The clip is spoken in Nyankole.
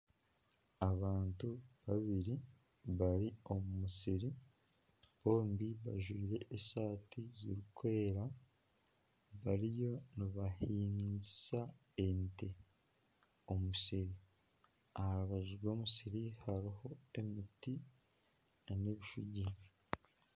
Abantu babiri bari omu musiri, bombi bajwaire esaaati zirikwera. Bariyo nibahingisa ente omu musiri. Aha rubaju hariho emiti n'ebishugi.